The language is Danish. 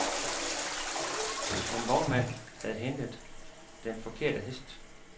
En vognmand havde hentet den forkerte hest.